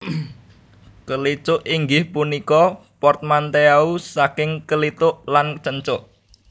Kelicuk inggih punika portmanteau saking kelituk lan cencuk